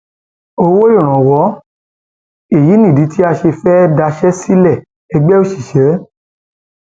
um owó ìrànwọ èyí nìdí tá a ṣe um fẹẹ daṣẹ sílẹẹgbẹ òṣìṣẹ